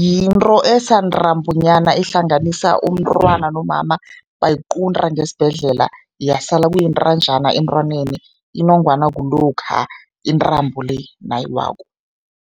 Yinto esantambonyana ehlanganisa umntwana nomama, bayiqunta ngesibhedlela yasala kuyintanjana emntwaneni, inongwana kulokha intambo le nayiwako.